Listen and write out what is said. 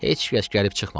Heç kəs gəlib çıxmadı.